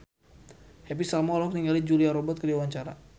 Happy Salma olohok ningali Julia Robert keur diwawancara